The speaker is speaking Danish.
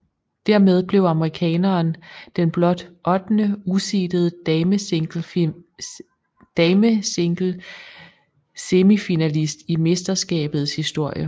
Dermed blev amerikaneren den blot ottende useedede damesinglesemifinalist i mesterskabets historie